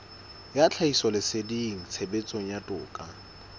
ya tlhahisoleseding tshebetsong ya toka